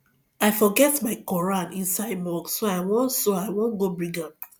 i forget my quran inside mosque so i wan so i wan go bring am